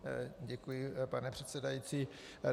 Děkuji, pane předsedající.